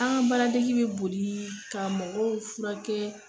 An ga baaradege bi boli ka mɔgɔw furakɛ